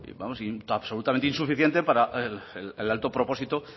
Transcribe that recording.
vamos absolutamente insuficiente para el alto propósito